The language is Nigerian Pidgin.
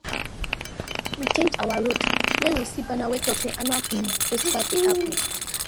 we change our road when we see banner wey talk say annual um festival dey happen